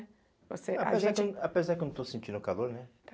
você, a gente, apesar que Apesar que eu não estou sentindo calor, né? Tá.